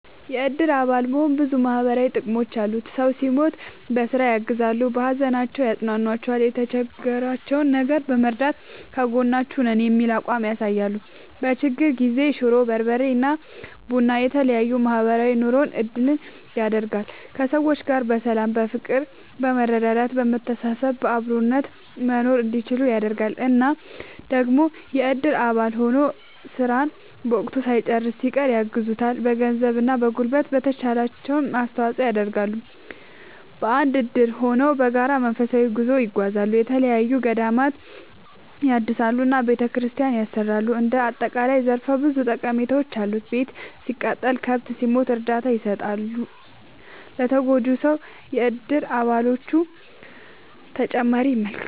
የእድር አባል መሆን ብዙ ማህበራዊ ጥቅሞች አሉት ሰው ሲሞት በስራ ያግዛሉ። በሀዘናቸው ያፅኗኗቸዋል የቸገራቸውን ነገር በመርዳት ከጎናችሁ ነን የሚል አቋም ያሳያሉ። በችግር ጊዜ ሽሮ፣ በርበሬ እና ቡና የተለያዬ ማህበራዊ ኑሮን እንድንል ያደርጋል። ከሰዎች ጋር በሰላም በፍቅር በመረዳዳት በመተሳሰብ በአብሮነት መኖርእንዲችሉ ያደርጋል። እና ደግሞ የእድር አባል ሆኖ ስራን በወቅቱ ሳይጨርስ ሲቀር ያግዙታል በገንዘብ እና በጉልበት የተቻላቸውን አስተዋፅዖ ይደረጋል። በአንድ እድር ሆነው በጋራ መንፈሳዊ ጉዞ ይጓዛሉ፣ የተለያዪ ገዳማትን ይሳለማሉ እና ቤተክርስቲያን ያሰራሉ እንደ አጠቃላይ ዘርፈ ብዙ ጠቀሜታዎች አሉት። ቤት ሲቃጠልበት፣ ከብት ሲሞትበት እርዳታ ይሰጡታል ለተጎጂው ሰው የእድር አባሎቹ።…ተጨማሪ ይመልከቱ